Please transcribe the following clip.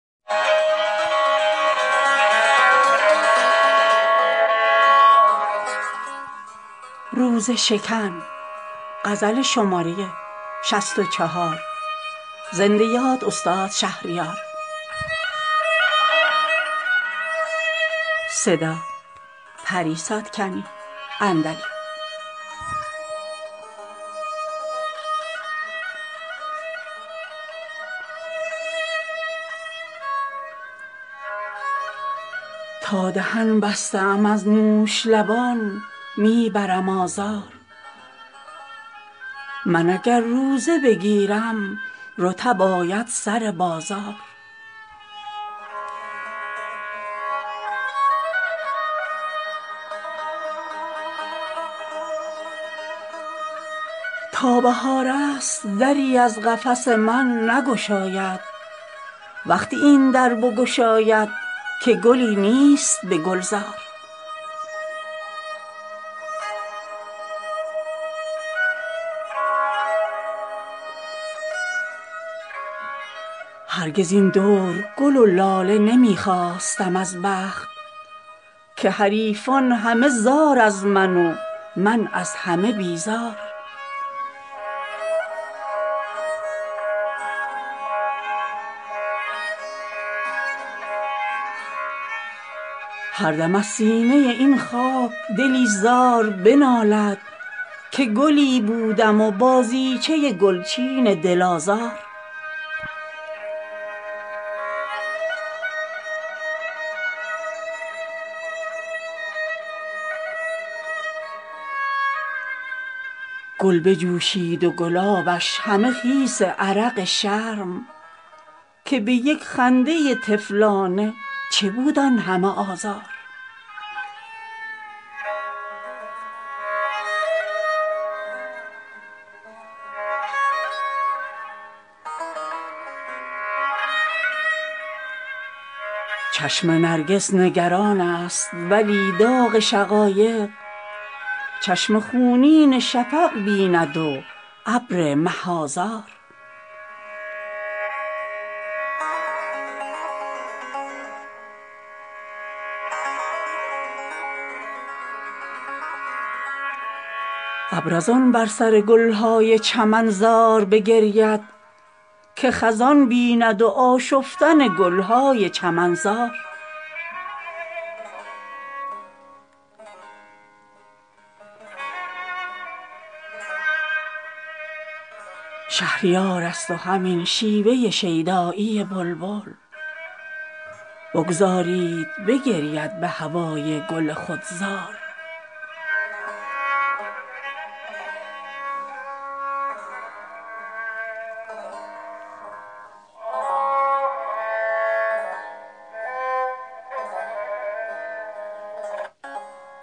تا دهن بسته ام از نوش لبان می برم آزار من اگر روزه بگیرم رطب آید سر بازار تا بهار است دری از قفس من نگشاید وقتی این در بگشاید که گلی نیست به گلزار چشم شاهد به سراپرده مژگان چه حکایت آهو از سبزه برآورد سر و شیر ز نیزار هرگز این دور گل و لاله نمی خواستم از بخت که حریفان همه زار از من و من از همه بیزار دست و ابزار چو می داد به گوش هنرم گفت رو که بازار تو روزی که نه دست است و نه ابزار هردم از سینه این خاک دلی زار بنالد که گلی بودم و بازیچه گلچین دل آزار گل بجوشید و گلابش همه خیس عرق شرم که به یک خنده طفلانه چه بود آن همه آزار چشم نرگس نگران است ولی داغ شقایق چشم خونین شفق بیند و ابر مه آذار ابر از آن بر سر گل های چمن زار بگرید که خزان بیند و آشفتن گل های چمنزار شهریار است و همین شیوه شیدایی بلبل بگذارید بگرید به هوای گل خود زار